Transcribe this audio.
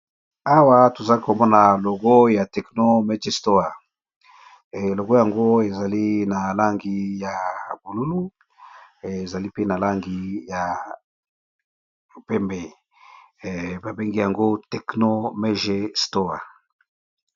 Awa toza komona logo ya Tecno Mg store, logo yango ezali na langi ya bululu ezali mpe na langi ya pembe babengi yango Tecno Mg Store.